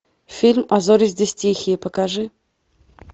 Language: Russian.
фильм а зори здесь тихие покажи